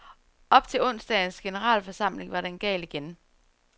Op til onsdagens generalforsamling var den gal igen.